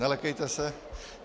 Nelekejte se.